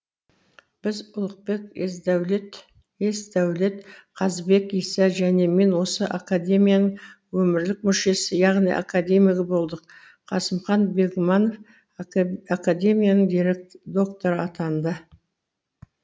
біз ұлықбек есдәулет қазыбек иса және мен осы академияның өмірлік мүшесі яғни академиігі болдық қасымхан бегманов академияның докторы атанды